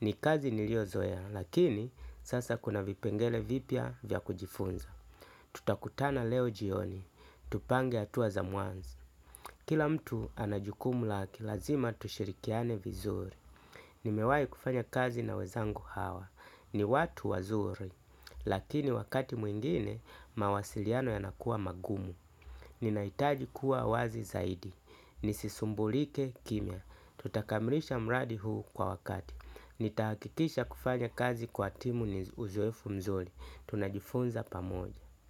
Ni kazi niliozoea lakini sasa kuna vipengele vipya vya kujifunza. Tutakutana leo jioni, tupange hatua za mwanzo. Kila mtu ana jukumu lake, lazima tushirikiane vizuri. Nimewahi kufanya kazi na wenzangu hawa, ni watu wazuri. Lakini wakati mwingine, mawasiliano yanakuwa magumu. Ninahitaji kuwa wazi zaidi, nisisumbulike kimya. Nitakamilisha mradi huu kwa wakati. Nitahakikisha kufanya kazi kwa timu yenye uzoefu nzuri. Tunajifunza pamoja.